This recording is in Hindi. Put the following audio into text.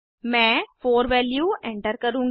मैं 4 वैल्यू एंटर करुँगी